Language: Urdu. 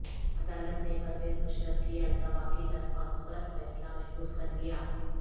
عدالت نے پرویز مشرف کی التوا کی درخواست پر فیصلہ محفوظ کرلیا